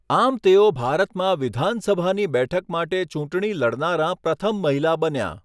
આમ તેઓ ભારતમાં વિધાનસભાની બેઠક માટે ચૂંટણી લડનારાં પ્રથમ મહિલા બન્યાં.